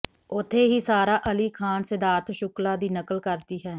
ਉਥੇ ਹੀ ਸਾਰਾ ਅਲੀ ਖਾਨ ਸਿਧਾਰਥ ਸ਼ੁਕਲਾ ਦੀ ਨਕਲ ਕਰਦੀ ਹੈ